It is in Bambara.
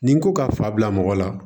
Ni n ko ka fa bila mɔgɔ la